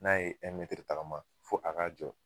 N'a ye tagama fo a k'a jɔ.